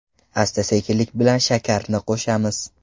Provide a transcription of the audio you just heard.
Asta-sekinlik bilan shakarni qo‘shamiz.